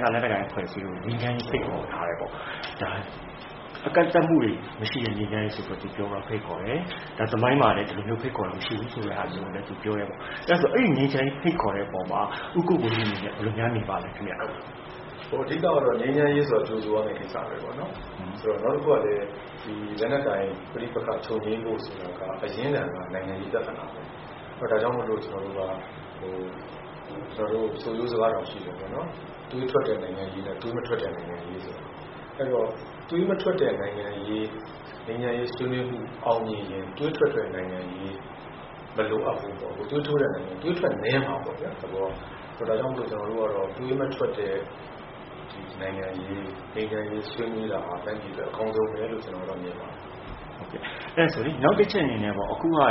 သား လက်နက်ကိုင် အဖွဲ့အစည်းတွေကို ငြိမ်းချမ်းရေး ဖိတ်ခေါ်ထားတယ်။ ကန့်သတ်မှုတွေ မရှိတဲ့ ငြိမ်းချမ်းရေးဆိုပြီး သူ ဖိတ်ခေါ်တယ်။ သမိုင်းမှာလည်း ဒီလိုမျိုး ဖိတ်ခေါ်တာ မရှိဘူးဆိုတာလည်း သူပြောတယ်။ အဲဒီ ငြိမ်းချမ်းရေး ဖိတ်ခေါ်တဲ့အပေါ်မှာ ဦးကိုကိုကြီး အနေနဲ့ ဘယ်လိုများ မြင်ပါသလဲ။ “အဓိကတော့ ငြိမ်းချမ်းရေးဆိုတာ ကြိုဆိုရမယ့်ကိစ္စပဲ။ နောက်တခုကလည်း လက်နက်ကိုင် ပဋိပက္ခ ချုပ်ငြိမ်းဖို့ ဆိုတာက အရင်းခံက နိုင်ငံရေး ပြဿနာပေါ့။ ဒါကြောင့် ကျနော်တို့ ဆိုရိုးစကားတောင်ရှိတယ်၊ သွေးထွက်တဲ့ နိုင်ငံရေးနဲ့ သွေးမထွက်တဲ့ နိုင်ငံရေးဆိုတာ။ အဲဒီတော့ သွေးမထွက်တဲ့ နိုင်ငံရေး ငြိမ်းချမ်းရေးဆွေးနွေးမှု အောင်မြင်ရင် သွေးထွက်တဲ့နိုင်ငံရေး မလိုအပ်ဘူးပေါ့။ သွေးထွက်နည်းမှာပေါ့ဗျာ၊ သဘောက။ ဒါကြောင့် ကျနော်တို့ကတော့ သွေးမထွက်တဲ့ နိုင်ငံရေး ငြိမ်းချမ်းရေး ဆွေးနွေးတာဟာ တိုင်းပြည်အတွက် အကောင်းဆုံးပဲလို့ ကျနော်ကတော့ မြင်ပါတယ်။” နောက်တချက်အနေနဲ့ အခု နစကဘ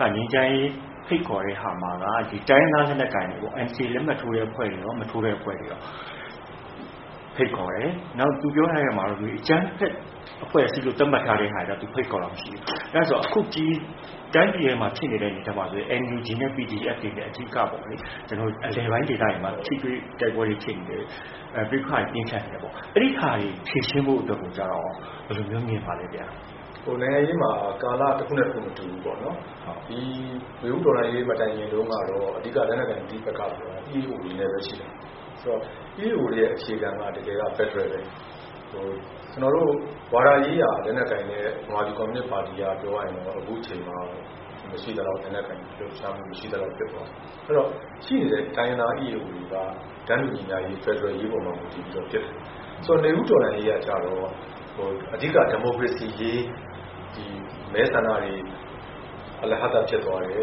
က်က ငြိမ်းချမ်းရေး ဖိတ်ခေါ်တဲ့ဟာမှာ တိုင်းရင်းသား လက်နက်ကိုင်တွေပေါ့၊ NCA လက်မှတ်ထိုးတဲ့ အဖွဲ့တွေရော၊ မထိုးတဲ့ အဖွဲ့တွေရော ဖိတ်ခေါ်တယ်။ နောက် သူပြောထားတဲ့အထဲမှာ အကြမ်းဖက် အဖွဲ့အစည်းလို့ သတ်မှတ်ထားတဲ့ဟာတွေတော့ သူ ဖိတ်ခေါ်တာ မရှိဘူး။ အဲ့တော့ အခု တိုင်းပြည်ထဲမှာ ဖြစ်နေတဲ့ အနေအထားမှာဆိုရင် NUG နဲ့ PDF တွေနဲ့ အဓိကပေ့ါလေ၊ အလယ်ပိုင်းဒေသတွေမှာ ထိတွေ့ တိုက်ပွဲတွေဖြစ်နေတယ်၊ ပဋိပက္ခတွေ ပြင်းထန်နေတယ်။ အဲဒီဟာတွေ ဖြေရှင်းဖို့အတွက်ရော ဘယ်လိုမျိုး မြင်ပါသလဲ။ “နိုင်ငံရေးမှာ ကာလ တခုနဲ့တခု မတူဘူးပေါ့။ ဒီ နွေဦးတော်လှန်ရေး မတိုင်ခင်တုန်းကတော့ အဓိက လက်နက်ကိုင် ပဋိပက္ခဆိုတာ EAO တွေနဲ့ပဲရှိတာ။ EAO တွေရဲ့ အခြေခံက တကယ်က ဖက်ဒရယ်ပဲ။ ကျနော်တို့ ဝါဒရေးရာ လက်နက်ကိုင်တဲ့ ဗမာပြည်ကွန်မြူနစ်ပါတီက ပြောရရင်တော့ အခုအချိန်မှာ လက်နက်ကိုင် လှုပ်ရှားမှုက မရှိသလောက် ဖြစ်သွားပြီ။ အဲဒီတော့ ရှိနေတဲ့ တိုင်းရင်းသား EAO တွေက တန်းတူညီမျှရေး၊ ဖက်ဒရယ်ရေးပေါ်မှာ မူတည်ပြီးတော့ ဖြစ်တာ။ နွေဦးတော်လှန်ရေးကျတော့ အဓိက ဒီမိုကရေစီရေး မဲဆန္ဒတွေ အလဟဿ ဖြစ်သွားတယ်၊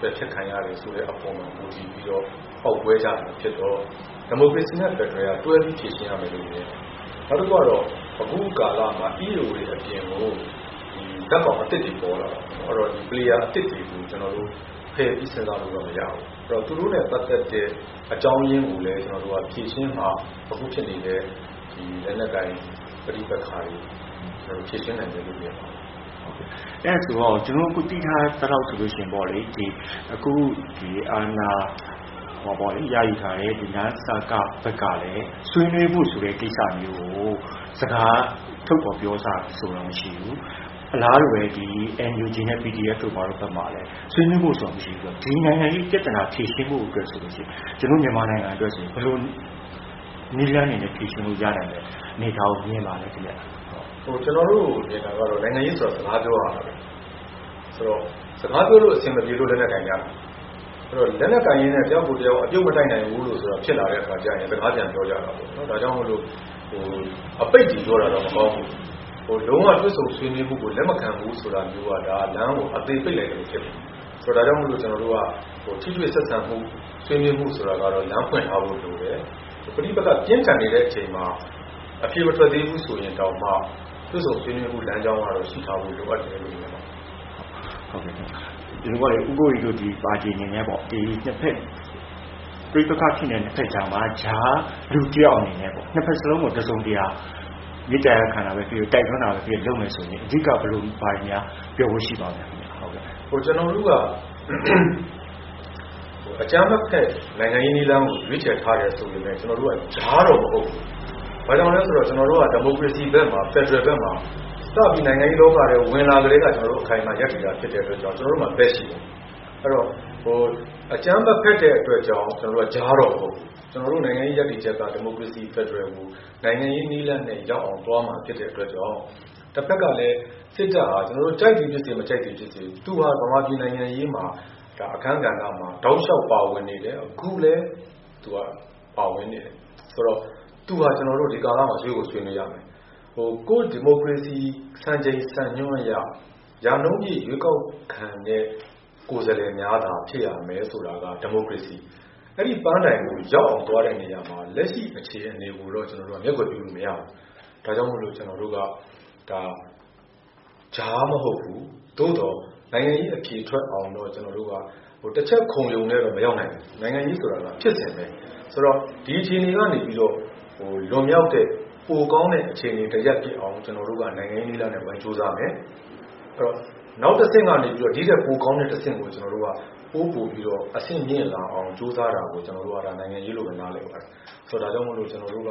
ပယ်ဖျက်ခံရတယ်ဆိုတဲ့ အပေါ်မှာ မူတည်ပြီးတော့ ပေါက်ကွဲကြတာဖြစ်တော့ ဒီမိုကရေစီနဲ့ ဖက်ဒရယ်က တွဲပြီး ဖြေရှင်းရမယ်လို့ မြင်တယ်။ နောက်တခုက အခုကာလမှာ EAO တွေအပြင်ကို ဇာတ်ကောင်အသစ်တွေ ပေါ်လာတယ်။ ဆိုတော့ Player အသစ်တွေကို ကျနော်တို့ ဖယ်ပြီး စဉ်းစားလို့တော့ မရဘူး။ သူတို့နဲ့ပတ်သက်တဲ့ အကြောင်းရင်းကိုလည်း ဖြေရှင်းမှ အခုဖြစ်နေတဲ့ လက်နက်ကိုင် ပဋိပက္ခတွေ ဖြေရှင်းနိုင်မယ်လို့ မြင်ပါတယ်။” အဲဒါဆို အခု ကျနော်တို့ သိထားသလောက် အခု အာဏာရယူထားတဲ့ နစကဘက်ကလည်း ဆွေးနွေးဖို့ဆိုတဲ့ ကိစ္စမျိုးကို စကားထုတ်ဖော်ပြောထားတာ မရှိဘူး၊ အလားတူပဲ NUG နဲ့ PDF တို့ဘက်မှာလည်း ဆွေးနွေးဖို့ဆိုတာ မရှိဘူးဆိုတော့ ဒီနိုင်ငံရေးပြဿနာ ဖြေရှင်းဖို့ဆိုရင် ကျနော်တို့ မြန်မာနိုင်ငံအတွက် ဘယ်လိုနည်းလမ်းတွေနဲ့ ဖြေရှင်းလို့ ရနိုင်မလဲ။ အနေအထားကို ဘယ်လိုမြင်ပါသလဲ။ “ကျနော်တို့မြင်တာကတော့ နိုင်ငံရေးဆိုတာ စကားပြောရတာပဲ။ စကားပြောလို့ အဆင်မပြေလို့ လက်နက်ကိုင်ကြတာ။ လက်နက်ကိုင်ရင်းနဲ့ တယောက်ကိုတယောက် အပြုတ်မတိုက်နိုင်ဘူးဆိုတာ ဖြစ်လာတဲ့အခါကျရင် စကားပြန်ပြောကြတာပေါ့။ ဒါကြောင့် အပိတ်တွေပြောတာတော့ မကောင်းဘူး။ လုံးဝ တွေ့ဆုံဆွေးနွေးမှုကို လက်မခံဘူးဆိုတာ ဒါ လမ်းကို အသေပိတ်လိုက်သလို ဖြစ်သွားတယ်။ ဒါကြောင့် ကျနော်တို့က ထိတွေ့ဆက်ဆံမှု ဆွေးနွေးမှုဆိုတာကတော့ လမ်းဖွင့်ထားဖို့ လိုတယ်။ ပဋိပက္ခ ပြင်းထန်နေတဲ့အချိန်မှာ အဖြေမထွက်သေးဘူး ဆိုရင်တောင်မှ တွေ့ဆုံဆွေးနွေးမှု လမ်းကြောင်းကတော့ ရှိထားဖို့ လိုအပ်တယ်လို့ မြင်ပါတယ်။” ဦးကိုကိုကြီးတို့ပါတီ အနေနဲ့ ပဋိပက္ခဖြစ်နေတဲ့ နှစ်ဖက်ကြားမှာ ကြားလူတယောက်အနေနဲ့ နှစ်ဖက်စလုံးကို တစုံတရာ မေတ္တာရပ်ခံတာပဲဖြစ်ဖြစ်၊ တိုက်တွန်းတာပဲဖြစ်ဖြစ် လုပ်မယ်ဆိုရင် အဓိက ဘာတွေများ ပြောဖို့ရှိပါသလဲ။ “ကျနော်တို့က အကြမ်းမဖက် နိုင်ငံရေးနည်းလမ်းကို ရွေးချယ်ထားတယ် ဆိုပေမယ့် ကျနော်တို့က ကြားတော့မဟုတ်ဘူး။ ဘာကြောင့်လဲဆိုတော့ ကျနော်တို့က ဒီမိုကရေစီဘက်မှာ ဖက်ဒရယ်ဘက်မှာ စပြီး နိုင်ငံရေးလောကထဲ ဝင်လာကတည်းက အခိုင်အမာ ရပ်တည်တာ ဖြစ်တဲ့အတွက် ကျနော်တို့မှာ ဘက်ရှိပါတယ်။ အဲ့တော့ အကြမ်းမဖက်တဲ့အတွက်ကြောင့် ကျနော်တို့က ကြားတော့မဟုတ်ဘူး။ ကျနော်တို့ နိုင်ငံရေးရပ်တည်ချက်က ဒီမိုကရေစီ ဖက်ဒရယ်ကို နိုင်ငံရေးနည်းလမ်းနဲ့ ရောက်အောင် သွားမှာဖြစ်တဲ့အတွက်ကြောင့် တဖက်ကလည်း စစ်တပ်ဟာ ကျနော်တို့ ကြိုက်သည်ဖြစ်စေ မကြိုက်သည်ဖြစ်စေ သူဟာ ဗမာပြည် နိုင်ငံရေးအခန်းကဏ္ဍမှာ တောက်လျှောက် ပါဝင်နေတယ်၊ အခုလည်း သူက ပါဝင်နေတယ်။ ဆိုတော့ သူဟာ ကျနော်တို့ ဒီကာလမှာ ဆွေးကို ဆွေးနွေးရမယ်။ ကိုယ့် ဒီမိုကရေစီ စံချိန်စံညွှန်းအရ ရာနှုန်းပြည့် ရွေးကောက်ခံတဲ့ ကိုယ်စားလှယ်များသာ ဖြစ်ရမယ် ဆိုတာက ဒီမိုကရေစီ။ အဲဒီပန်းတိုင်ကို ရောက်အောင်သွားတဲ့ နေရာမှာ လက်ရှိအြခေအနေကိုတော့ ကျနော်တို့က မျက်ကွယ်ပြုလို့မရဘူး။ ဒါကြောင့် ကျနော်တို့က ဒါ ကြားမဟုတ်ဘူး။ သို့သော် နိုင်ငံရေးအဖြေထွက်အောင်တော့ ကျနော်တို့က၊ တချက်ခုန်ရုံနဲ့တော့ မရောက်နိုင်ဘူး၊ နိုင်ငံရေးဆိုတာက ဖြစ်စဉ်ပဲ။ ဆိုတော့ ဒီအခြေအနေကနေပြီးတော့ လွန်မြောက်တဲ့၊ ပိုကောင်းတဲ့ အခြေအနေတရပ်ဖြစ်အောင် ကျနော်တို့က နိုင်ငံရေးနည်းလမ်းနဲ့ ဝိုင်းကြိုးစားမယ်။ နောက်တဆင့်ကနေ ဒီ့ထက်ပိုကောင်းတဲ့ တဆင့်ကို ကျနော်တို့က ပိုပိုပြီး အဆင့်မြင့်လာအောင် ကြိုးစားတာကို ဒါ နိုင်ငံရေးလို့ပဲ ကျနော်တို့ နားလည်ပါတယ်။ ဒါကြောင့်မို့ ကျနော်တို့က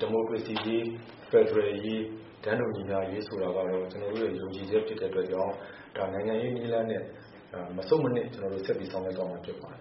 ဒီမိုကရေစီရေး၊ ဖက်ဒရယ်ရေး၊ တန်းတူညီမျှရေး ဆိုတာကတော့ ကျနော်တို့ရဲ့ ယုံကြည်ချက် ဖြစ်တဲ့အတွက်ကြောင့် နိုင်ငံရေးနည်းလမ်းနဲ့ မဆုတ်မနစ် ကျနော်တို့ ဆက်ပြီး ဆောင်ရွက်သွားမှာ ဖြစ်ပါတယ်